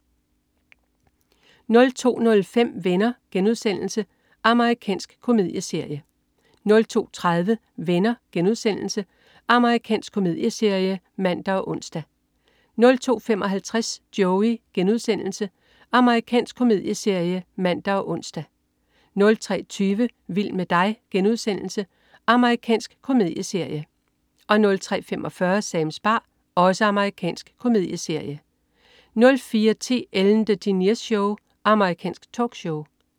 02.05 Venner.* Amerikansk komedieserie 02.30 Venner.* Amerikansk komedieserie (man og ons) 02.55 Joey.* Amerikansk komedieserie (man og ons) 03.20 Vild med dig* Amerikansk komedieserie 03.45 Sams bar. Amerikansk komedieserie 04.10 Ellen DeGeneres Show. Amerikansk talkshow